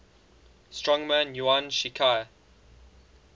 strongman yuan shikai